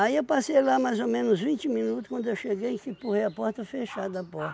eu passei lá mais ou menos vinte minutos, quando eu cheguei que empurrei a porta, fechada a porta.